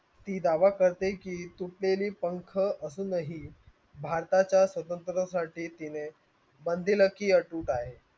ती दावा करते की तुटलेली पंख अजूनही भारताच्या स्वतंत्र्यासाठी तिने